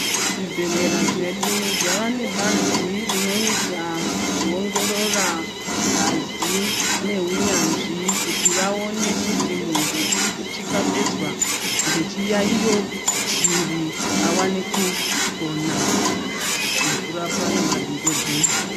Zvibhedhlera zvedu zvava nebazi rinoita kuongorora ngazi neunyanzvi kuti vaone kuti muntu ingabezwa nechiyaiyo chiri awane kupona nekurapwa nemadhokodheya.